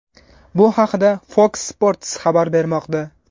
Bu haqda Fox Sports xabar bermoqda .